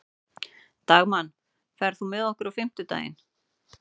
Dagmann, ferð þú með okkur á fimmtudaginn?